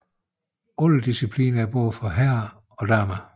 Alle disciplinerne er både for herrer og damer